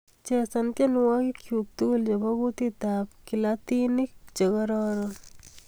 Chesan tyenwogikchuk tugul chebo kutitab kilatinik chegororon